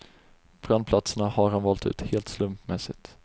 Brandplatserna har han valt ut helt slumpmässigt.